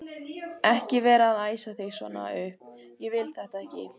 ekki vera að æsa þig svona upp. ég vil þetta ekki!